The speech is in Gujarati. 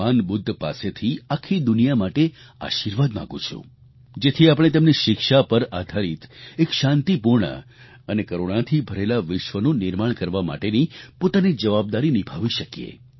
ભગવાન બુદ્ધ પાસેથી આખી દુનિયા માટે આશિર્વાદ માગું છું જેથી આપણે તેમની શિક્ષા પર આધારિત એક શાંતિપૂર્ણ અને કરૂણાથી ભરેલા વિશ્વનું નિર્માણ કરવા માટેની પોતાની જવાબદારી નિભાવી શકીએ